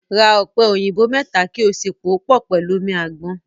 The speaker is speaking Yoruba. Ra ọ̀pẹ̀ òyìnbò mẹ́ta kí ó sì pòó pọ̀ pẹ̀lú omi àgbọn.